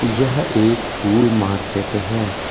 यह एक फूल मार्केट है।